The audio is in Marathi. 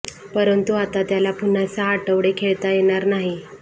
परंतु आता त्याला पुन्हा सहा आठवडे खेळता येणार नाही